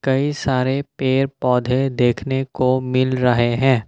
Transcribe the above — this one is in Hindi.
कई सारे पेड़ पौधे देखने को मिल रहे हैं।